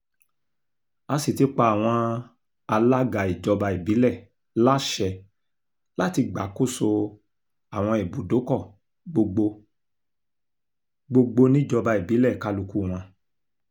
a sì ti pa àwọn alága ìjọba ìbílẹ̀ láṣẹ láti gbàkóso àwọn ibùdókọ̀ gbogbo gbogbo níjọba ìbílẹ̀ kálukú wọn